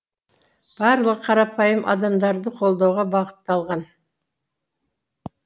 барлығы қарапайым адамдарды қолдауға бағытталған